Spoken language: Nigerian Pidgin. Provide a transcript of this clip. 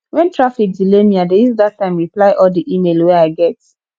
wen traffic delay me i dey use dat time reply all di email wey i get